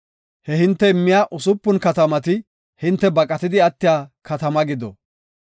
Ha hinte immiya usupun katamati hinte baqatidi attiya katama gido.